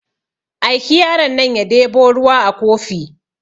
Aiki yaron nan ya debo ruwa a kofi